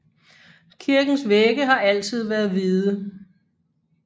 Kirkens vægge har altid været hvide